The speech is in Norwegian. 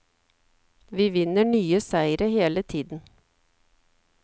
Vi vinner nye seire hele tiden.